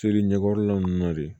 Tori ɲɛkɔrɔla ninnu na de